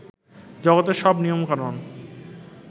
জগতের সব নিয়মকানুন